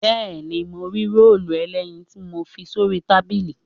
Bẹ́ẹ̀ni, mo rí róòlù ẹlẹ́yin tí mo fi sórí tábìlì